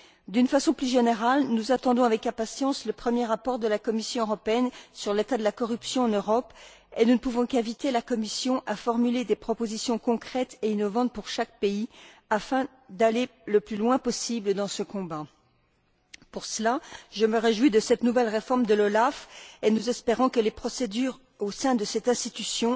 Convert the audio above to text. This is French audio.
D'une façon plus générale, nous attendons avec impatience le premier rapport de la Commission européenne sur l'état de la corruption en Europe et nous ne pouvons qu'inviter la Commission à formuler des propositions concrètes et innovantes pour chaque pays, afin d'aller le plus loin possible dans ce combat. Pour cela, je me réjouis de cette nouvelle réforme de l'OLAF et nous espérons que les procédures seront, au sein de cette institution,